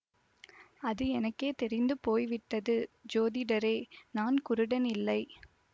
அது எனக்கே தெரிந்து போய்விட்டது ஜோதிடரே நான் குருடன் இல்லை